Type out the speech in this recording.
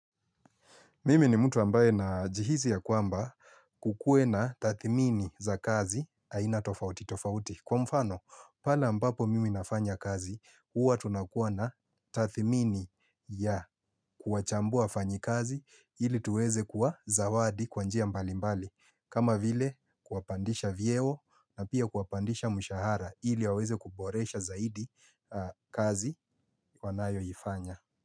Mimi ni mtu ambaye najihisi ya kwamba kukuwe na tathmini za kazi aina tofauti tofauti. Kwa mfano, pale ambapo mimi nafanya kazi, huwa tunakuwa na tathmini ya kuwachambua wafanyikazi ili tuweze kuwazawadi kwa njia mbalimbali. Kama vile kuwapandisha vyeo na pia kuwapandisha mshahara ili waweze kuboresha zaidi kazi wanayoifanya.